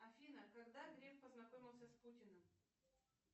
афина когда греф познакомился с путиным